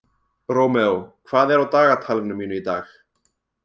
Rómeó, hvað er á dagatalinu mínu í dag?